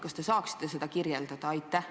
Kas te saaksite seda kirjeldada?